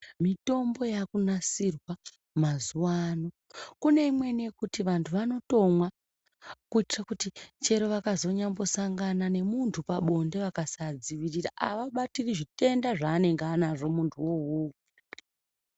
Mitombo yakunasirwa mazuvano kune imweni yemuti vantu vanyambomwa kuitira kuti kunyambosangana nemuntu pabonde akasadziwirira haabatire zvitenda zvaanenge anazvo muntu iwowo.